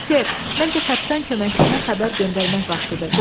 Ser, məncə kapitan köməkçisinə xəbər göndərmək vaxtıdır.